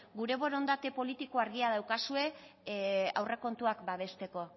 gure borondate politiko argia daukazue aurrekontuak babesteko